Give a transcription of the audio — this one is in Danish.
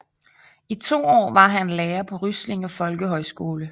I to år var han lærer på Ryslinge Folkehøjskole